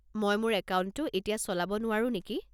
মই মোৰ একাউণ্টটো এতিয়া চলাব নোৱাৰো নেকি?